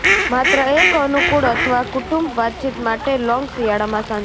માત્ર એક અનુકુળ અથવા કુટુંબ વાતચીત માટે લોંગ શિયાળામાં સાંજે